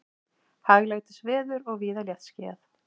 Hæglætisveður og víða léttskýjað